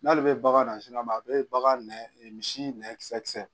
N'ale bɛ bagan nasugu ma a bɛ bagan nɛ misi nɛɛ kisɛ kisɛ